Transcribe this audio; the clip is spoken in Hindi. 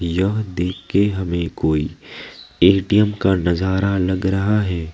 यह देखके हमें कोई ए_टी_एम का नजर लग रहा है।